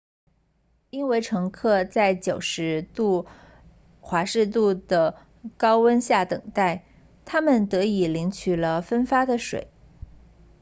因为乘客在90度 f 度的高温下等待他们得以领取了分发的水